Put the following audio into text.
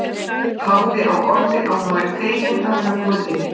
Hafði á orði að hún væri fegin að vera komin inn.